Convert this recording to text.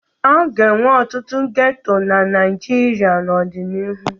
A ga-enwe ọtụtụ geto na Naịjirịa n'ọdịnihu.